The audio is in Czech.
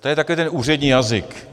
To je takový ten úřední jazyk.